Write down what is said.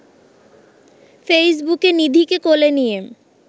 ফেইসবুকে নিধিকে কোলে নিয়ে